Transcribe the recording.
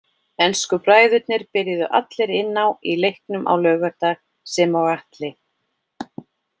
Ensku bræðurnir byrjuðu allir inn á í leiknum á laugardag sem og Atli.